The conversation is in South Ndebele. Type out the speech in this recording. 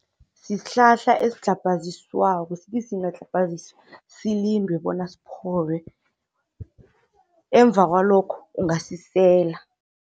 Sihlahla esidlhabhaziswako, sithi singadlhabhaziswa silindwe bona siphole ngemva kwalokho ungasisela.